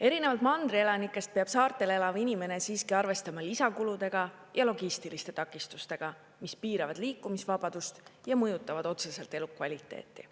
Erinevalt mandri elanikest peab saarel elav inimene siiski arvestama lisakuludega ja logistiliste takistustega, mis piiravad liikumisvabadust ja mõjutavad otseselt elukvaliteeti.